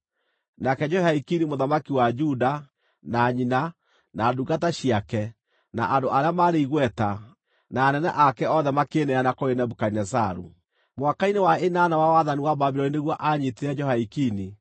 Nake Jehoiakini mũthamaki wa Juda, na nyina, na ndungata ciake, na andũ arĩa maarĩ igweta, na anene ake othe makĩĩneana kũrĩ Nebukadinezaru. Mwaka-inĩ wa ĩnana wa wathani wa Babuloni nĩguo aanyiitire Jehoiakini.